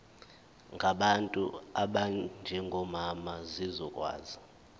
ngabantu abanjengomama zizokwazi